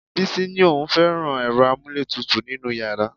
Bísí ni òun ò fẹ́ràn ẹ̀rọ amúlétutù nínú yàrá